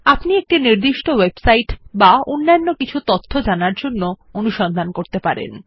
আপনি একটি নির্দিষ্ট ওয়েবসাইট বা অন্যান্য কিছু তথ্য জানার জন্য অনুসন্ধান করতে পারেন